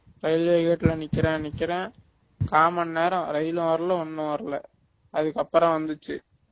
railway gate ல நிக்கிறேன் நிக்கிறேன் காமன்நேரம் ரயிலும் வரல ஒன்னும் வரல அதுக்கப்பறம் வ